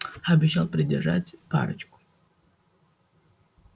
обещал придержать парочку